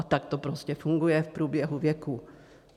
A tak to prostě funguje v průběhu věků.